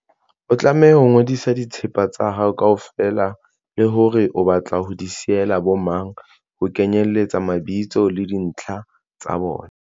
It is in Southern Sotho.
O tlameha ho ngodisa dithepa tsa hao kaofela le hore o batla ho di siyela bomang, ho kenyeletsa mabitso le dintlha tsa bona.